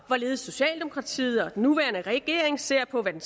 hvorledes socialdemokratiet og den nuværende regering ser på hvad den